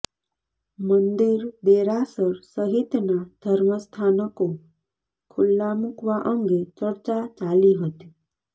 મંદિર દેરાસર સહિતના ધર્મ સ્થાનકો ખુલ્લા મુકવા અંગે ચર્ચા ચાલી હતી